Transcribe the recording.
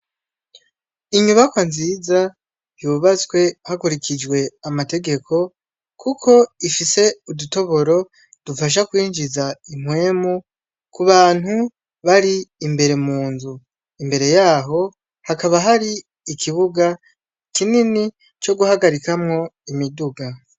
Inyubakwa nziza yubatswe hakurikijwe amategeko kuko ifise udutoboro dufasha kwinjiza impwemu kubantu bari imbere munzu, imbere yaho hakaba hari ikibuga kinini co guhagarikamwo imiduga.